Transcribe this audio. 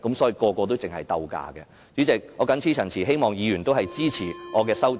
主席，我謹此陳辭，希望議員支持我的修正案。